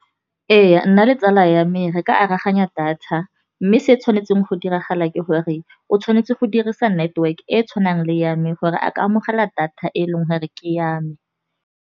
Ee nna le tsala ya me re ka aroganya data, mme se tshwanetseng go diragala ke gore o tshwanetse go dirisa network e e tshwanang le ya me, gore a ka amogela data e leng gore ke ya me.